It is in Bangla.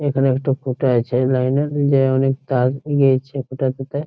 এখানে একটা খুঁটা আছে এই লাইন এর যা অনেক তার গিয়েছে খুঁটা টি তে ।